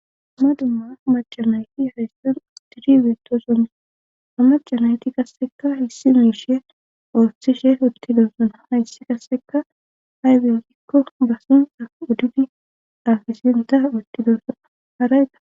Ama dumma macamayti hayssan atiri biitoson amacanayti kasseka hissi miishe ooththishe utti donssona hayssi kasseka hay bengikko basin auddudi afisenta uttidosona harayda.